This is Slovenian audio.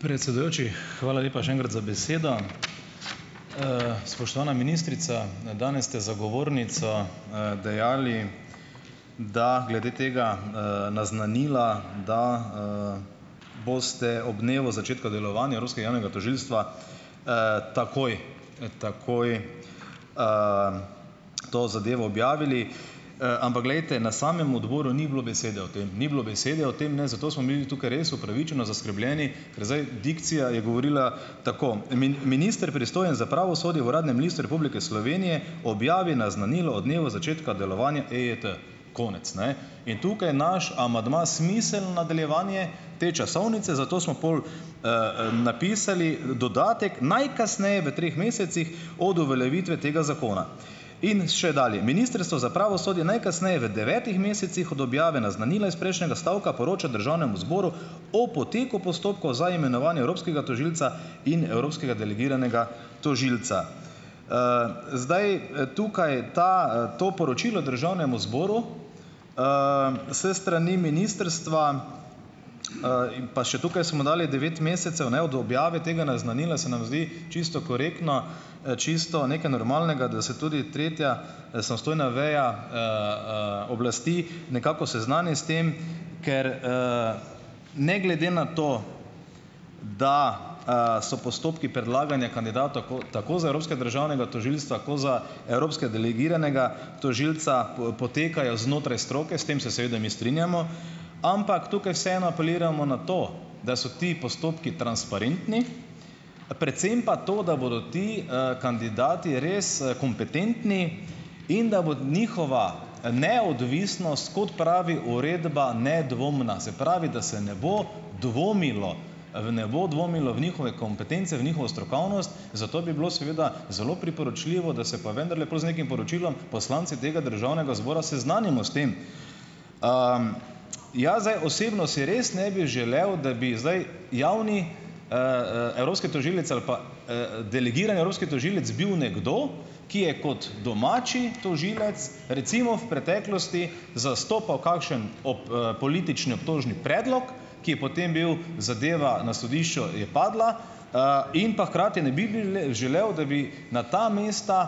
Predsedujoči, hvala lepa še enkrat za besedo. Spoštovana ministrica, ne, danes ste zagovornica, dejali, da glede tega naznanila, da, boste ob dnevu začetku delovanja evropskega javnega tožilstva, takoj, takoj, to zadevo objavili. Ampak glejte, na samem odboru ni bilo besede o tem, ni bilo besede o tem, ne, zato smo mi tukaj res upravičeno zaskrbljeni, ker zdaj dikcija je govorila tako: minister, pristojen za pravosodje, v Uradnem listu Republike Slovenije objavi naznanilo o dnevu začetka delovanja EET." Konec, ne. In tukaj naš amandma smiselno nadaljevanje te časovnice, zato smo pol, napisali dodatek "najkasneje v treh mesecih od uveljavitve tega zakona". In še dalje: "Ministrstvo za pravosodje najkasneje v devetih mesecih od objave naznanila iz prejšnjega stavka, poroča Državnemu zboru o poteku postopkov za imenovanje evropskega tožilca in evropskega delegiranega tožilca." Zdaj, tukaj ta, to poročilo Državnemu zboru, s strani ministrstva, in pa še tukaj smo dali devet mesecev, ne, od objave tega naznanila, se nam zdi čisto korektno, čisto nekaj normalnega, da se tudi tretja, samostojna veja, oblasti nekako seznani s tem, ker, ne glede na to, da, so postopki predlaganja kandidatov tako tako za evropskega državnega tožilstva, koz za evropskega delegiranega tožilca, potekajo znotraj stroke - s tem se seveda mi strinjamo, ampak tukaj vseeno apeliramo na to, da so ti postopki transparentni, predvsem pa to, da bodo ti, kandidati res, kompetentni in da bo njihova, neodvisnost, kot pravi uredba, nedvomna. Se pravi, da se ne bo dvomilo, v ne bo dvomilo v njihove kompetence, v njihovo strokovnost, zato bi bilo seveda zelo priporočljivo, da se pa vendarle pol z nekim poročilom, poslanci tega Državnega zbora seznanimo s tem. Jaz zdaj osebno si res ne bi želel, da bi zdaj javni, evropski tožilec ali pa, delegiran evropski tožilec bil nekdo, ki je kot domači tožilec recimo v preteklosti zastopal kakšen politični obtožni predlog, ki je potem bil - zadeva na sodišču je padla, in pa hkrati ne bi bi želel, da bi na ta mesta,